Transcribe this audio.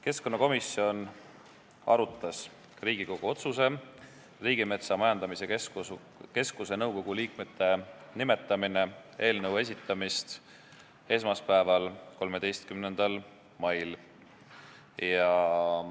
Keskkonnakomisjon arutas Riigikogu otsuse "Riigimetsa Majandamise Keskuse nõukogu liikmete nimetamine" eelnõu esitamist esmaspäeval, 13. mail.